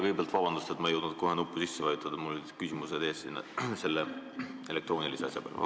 Kõigepealt vabandust, et ma ei jõudnud kohe nuppu sisse vajutada, mul olid küsimused siin selle elektroonilise asja peal ees.